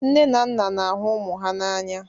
Nne na nna na-ahụ ụmụ ha n'anya